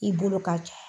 I bolo ka ca